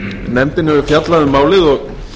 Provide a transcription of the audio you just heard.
nefndin hefur fjallað um málið og